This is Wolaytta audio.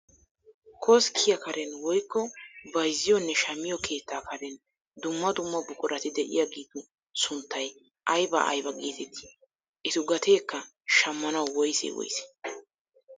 Koskkiyaa karen woykko bayzziyoonne shammiyoo keettaa karen dumma dumma buqurati de'iyaagetu sunttay aybaa aybaa getettii? etu gateekka shammanawu woysee woysee?